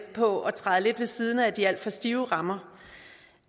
på at træde lidt ved siden af de alt for stive rammer